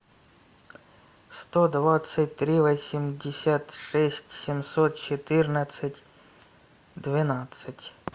сто двадцать три восемьдесят шесть семьсот четырнадцать двенадцать